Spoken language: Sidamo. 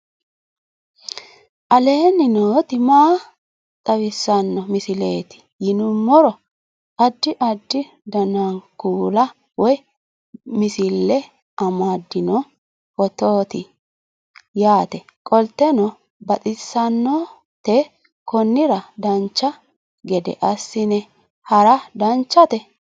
aleenni nooti maa xawisanno misileeti yinummoro addi addi dananna kuula woy biinsille amaddino footooti yaate qoltenno baxissannote konnira dancha gede assine haara danchate